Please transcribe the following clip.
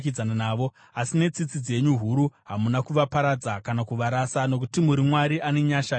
Asi netsitsi dzenyu huru hamuna kuvaparadza kana kuvarasa, nokuti muri Mwari ane nyasha netsitsi.